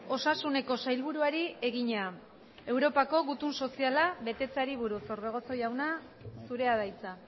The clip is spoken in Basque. osasuneko sailburuari egina europako gutun soziala betetzeari buruz orbegozo jauna zurea da hitza